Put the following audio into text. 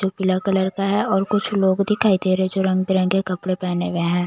--जो पीला कलर का है और कुछ लोग दिखाई दे रहे हैं जो रंग बिरंगे कपड़े पहने हुए हैं।